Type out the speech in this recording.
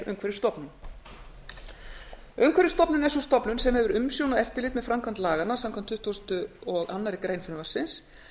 umhverfisstofnun er sú stofnun sem hefur umsjón og eftirlit með framkvæmd laganna samkvæmt tuttugustu og aðra grein frumvarpsins